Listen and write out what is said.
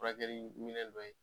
Furakɛliminɛn dɔ ye